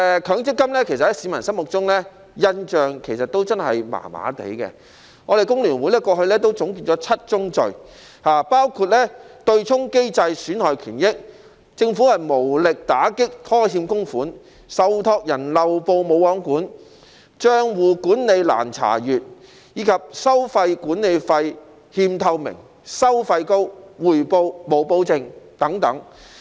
強積金其實在市民心中的印象真的很一般，工聯會過去總結了"七宗罪"：對沖機制損害權益、政府無力打擊拖欠供款、受託人漏報"無皇管"、帳戶管理難查閱、收取管理費欠透明、收費高，以及回報無保證。